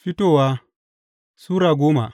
Fitowa Sura goma